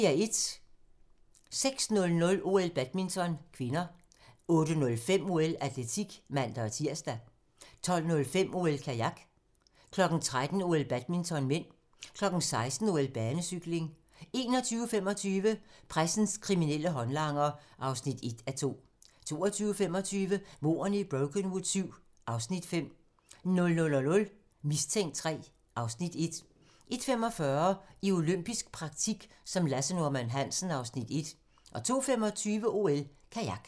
06:00: OL: Badminton (k) 08:05: OL: Atletik (man-tir) 12:05: OL: Kajak 13:00: OL: Badminton (m) 16:00: OL: Banecykling 21:25: Pressens kriminelle håndlanger (1:2) 22:25: Mordene i Brokenwood VII (Afs. 5) 00:00: Mistænkt III (Afs. 1) 01:45: I olympisk praktik som Lasse Norman Hansen (Afs. 1) 02:25: OL: Kajak